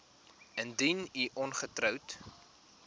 indien u ongetroud